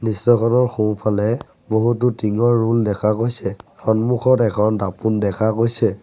দৃশ্যখনৰ সোঁফালে বহুতো টিঙৰ ৰোল দেখা গৈছে সন্মুখত এখন দাপোন দেখা গৈছে।